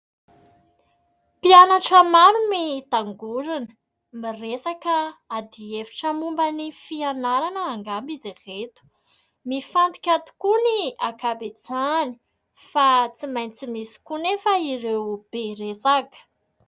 Mpianatra maro mitangorona miresaka adi-hevitra momba ny fianarana angamba izay ireto. Mifantoka tokoa ny ankabetsahany fa tsy maintsy misy koa anefa ireo be resaka.